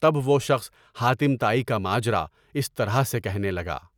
تب وہ شخص حاتم طائی کا ماجرا اس طرح سے کہنے لگا۔